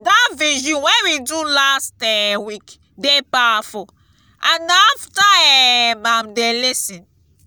dat vigil wey we do last um week dey powerful and na after um am dey lis ten